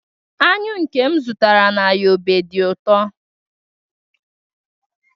anyụ nke m zụtara na yobe dị ụtọ